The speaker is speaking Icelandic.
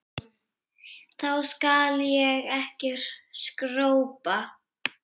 Þá skal ég ekki skrópa.